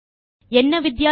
என்ன வித்தியாசம்